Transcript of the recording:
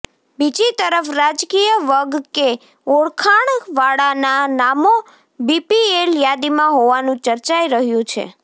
બીજી તરફ રાજકીય વગ કે ઓળખાણવાળાના નામો બીપીએલ યાદીમાં હોવાનું ચર્ચાઈ રહ્યુ છે